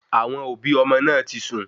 Àwọn òbí ọmọ náà tí sun